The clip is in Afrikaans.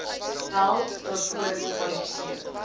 wel daarvoor kwalifiseer